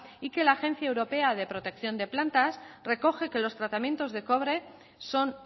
y que la agencia europea de protección de plantas recoge que los tratamiento de cobre son